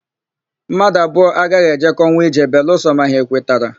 Mmadụ abụọ agaghị ejekọnwu ije belụsọ ma ha ekwetara.